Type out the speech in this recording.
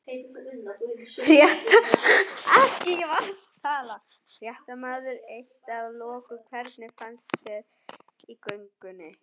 Fréttamaður: Eitt að loku, hvernig fannst þér í göngunni?